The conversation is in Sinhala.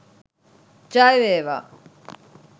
ජය වේවා